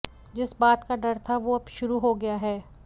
जिस बात का डर था वो अब शुरू हो गया है